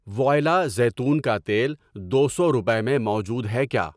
وؤائلا زیتون کا تیل دو سو روپے میں موجود ہے کیا؟